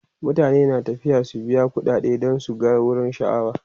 mutane na tafiya su biya ƙuɗade dan su gan wurin sha'awa